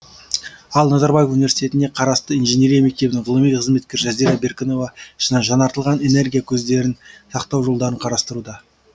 ал назарбаев университетіне қарасты инженерия мектебінің ғылыми қызметкері жазира беркінова жаңартылған энергия көздерін сақтау жолдарын қарастыруда